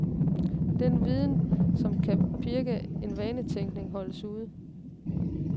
Den viden, som kan pirke til vanetænkning, holdes ude.